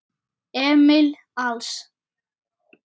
Emil Als.